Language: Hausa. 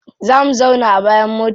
Za mu zauna a bayan mota.